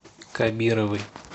кабировой